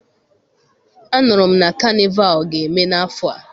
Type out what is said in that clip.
Anụrụ m na kanịval ga-eme n' afọ a.